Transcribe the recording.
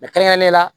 kɛrɛnkɛrɛnnenya la